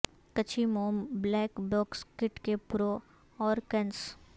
کچھی موم black box kit کے pro اور کنس